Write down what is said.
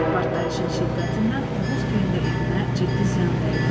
Partlayışın şiddətindən Oğuzgilində evinə ciddi ziyan dəydi.